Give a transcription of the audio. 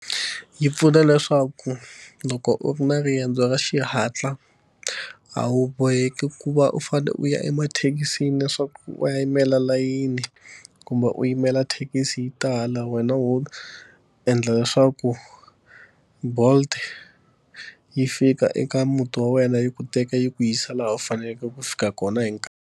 Yi pfuna leswaku loko u ri na riendzo ra xihatla, a wu boheki ku va u fanele u ya emathekisini leswaku u ya yimela layini kumbe u yi yimela thekisi yi tala. Wena wo endla leswaku Bolt yi fika eka muti wa wena yi ku teka yi ku yisa laha u faneleke ku fika kona hi nkarhi.